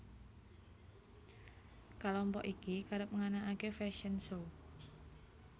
Kalompok iki kerep nganakaké fashion show